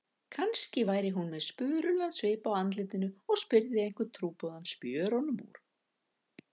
Kannski væri hún með spurulan svip á andlitinu og spyrði einhvern trúboðann spjörunum úr.